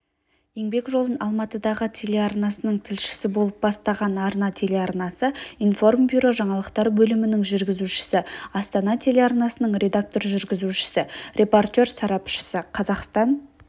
еңбек жолын алматыдағы телеарнасының тілшісі болып бастаған арна телеарнасы информбюро жаңалықтар бөлімінің жүргізушісі астана телеарнасының редактор-жүргізушісі репортер-сарапшысы қазақстан